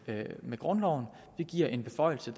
med grundloven vi giver en beføjelse